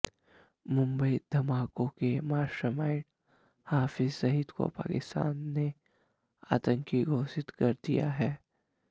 मुंबई धमाकों के मास्टरमाइंड हाफिज सईद को पाकिस्तान ने आतंकवादी घोषित कर दिया है